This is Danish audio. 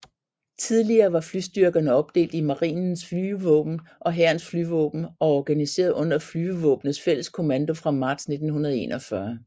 Tidligere var flystyrkerne opdelt i Marinens flygevåben og Hærens flyvåben og organiseret under Flygevåpnenes Felleskommando fra marts 1941